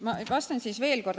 Ma vastan siis veel kord.